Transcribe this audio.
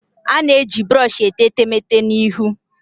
A na-eji brọsh etee etemeete na ihu